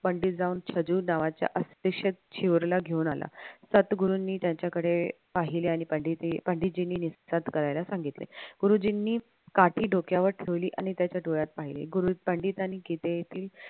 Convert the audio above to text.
पंडित जाऊन नावाच्या शिहोरला घेऊन आला सद्गुरूंनी त्याच्याकडे पाहिले आणि पंडितजींनी निश्चय करायला सांगितले. गुरुजींनी काठी डोक्यावर ठेवली आणि त्याच्या डोळ्यात पाहिले गुरू पंडितांनी किदे येथील